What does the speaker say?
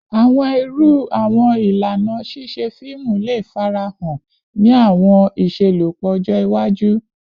Awọn iru awọn ilana ṣiṣe fiimu le farahan ni awọn iṣelọpọ ọjọ iwaju?